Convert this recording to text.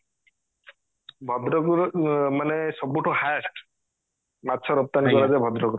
ଭଦ୍ରକ ର ମାନେ ସବୁଠୁ highest ମାଛ ରପ୍ତାନୀ କରାଯାଏ ଭଦ୍ରକ ରୁ